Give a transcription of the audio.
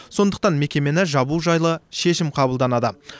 сондықтан мекемені жабу жайлы шешім қабылданады